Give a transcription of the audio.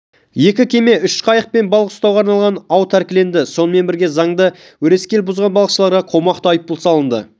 екі кеме үш қайық пен балық ұстауға арналған ау тәркіленеді сонымен бірге заңды өрескел бұзған балықышыларға қомақты айппұл салынады